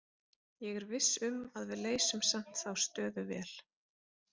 Ég er viss um að við leysum samt þá stöðu vel.